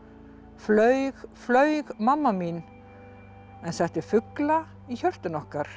flaug flaug mamma mín en setti fugla í hjörtun okkar